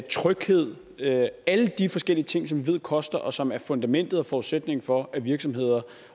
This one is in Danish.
tryghed alle de forskellige ting som vi ved koster og som er fundamentet og forudsætningen for at virksomheder